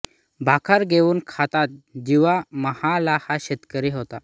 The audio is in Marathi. भाकर घेऊन खातात जिवा महाला हा शेतकरी होता